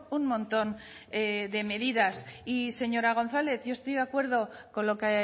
un montón de medidas y señora gonzález yo estoy de acuerdo con lo que